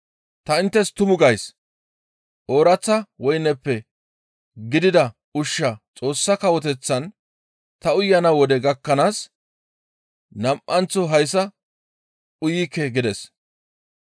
Ta inttes tumu gays; ooraththa woyneppe giigida ushshaa Xoossa Kawoteththan ta uyana wode gakkanaas nam7anththo hayssa uyikke» gides.